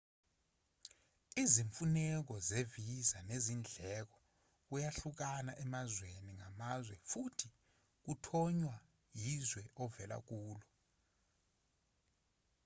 izimfuneko ze-visa nezindleko kuyahluka emazweni ngamazwe futhi kuthonywa yizwe ovela kulo